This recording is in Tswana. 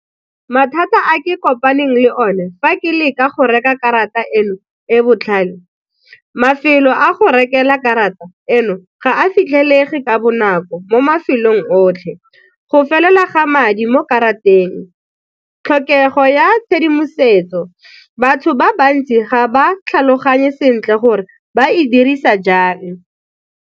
Mathata a ke kopaneng le one fa ke leka go reka karata eno e botlhale, mafelo a go rekelwa karata eno ga a fitlhelege ka bonako mo mafelong o otlhe, go felela ga madi mo karateng. Tlhokego ya tshedimosetso, batho ba bantsi ga ba tlhaloganye sentle gore ba e dirisa jang.